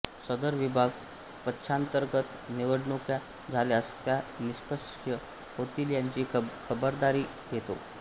सदर विभाग पक्षांतर्गत निवडणुका झाल्यास त्या निष्पक्ष होतील याची खबरदारी घेतो